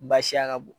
Baasiya ka bon